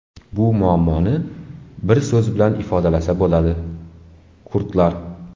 Bu muammoni bir so‘z bilan ifodalasa bo‘ladi – kurdlar .